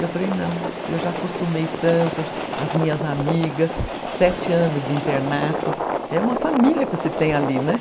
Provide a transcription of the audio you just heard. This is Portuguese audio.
Eu falei, não, eu já acostumei tanto, as minhas amigas, sete anos de internato, é uma família que você tem ali, né?